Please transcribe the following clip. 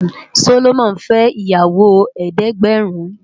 Solomon fè iyàwó èédègbèrín